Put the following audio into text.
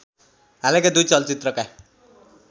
हालैका दुई चलचित्रका